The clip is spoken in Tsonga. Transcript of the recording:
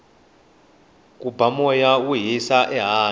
ku ba moya wo hisa ehandle